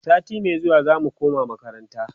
sati Mai zuwa zamu koma makaranta